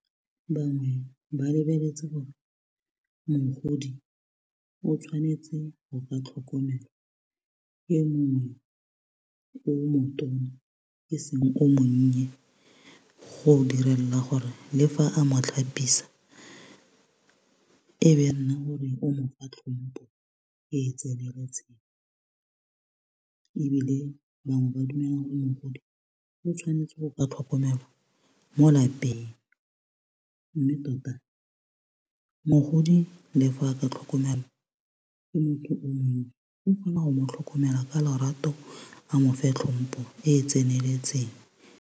Bangwe ba lebeletse gore mogodi o tshwanetse go ka tlhokomelwa ke mongwe o motona eseng o monnye go direla gore le fa a mo tlhapisa o mofa tlhompo e tseneletseng ebile bangwe ba dumela go mogodi o tshwanetse go ka tlhokomelwa mo lapeng mme tota mogodi le fa a ka tlhokomelwa ke motho o mongwe o kgona go mo tlhokomela ka lorato a mofe tlhompo e e tseneletseng.